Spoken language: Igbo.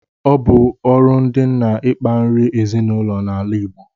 Ọ bu ọrụ ndi nna ikpa nri ezinụlọ na ala Igbo